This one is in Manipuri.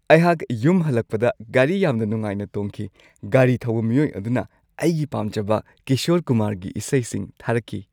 ꯑꯩꯍꯥꯛ ꯌꯨꯝ ꯍꯜꯂꯛꯄꯗ ꯒꯥꯔꯤ ꯌꯥꯝꯅ ꯅꯨꯡꯉꯥꯏꯅ ꯇꯣꯡꯈꯤ꯫ ꯒꯥꯔꯤ ꯊꯧꯕ ꯃꯤꯑꯣꯏ ꯑꯗꯨꯅ ꯑꯩꯒꯤ ꯄꯥꯝꯖꯕ ꯀꯤꯁꯣꯔ ꯀꯨꯃꯥꯔꯒꯤ ꯏꯁꯩꯁꯤꯡ ꯊꯥꯔꯛꯈꯤ꯫